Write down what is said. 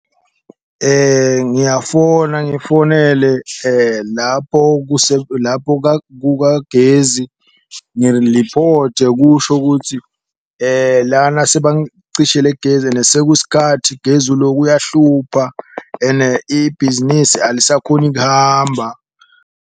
Ngiyafona ngifonele lapho , lapho kukagezi ngiliphothe kusho ukutsi lana sebangicishele gezi ene sekusikathi gezi uloku uyahlupha, ene ibhizinisi alisakhoni kuhamba.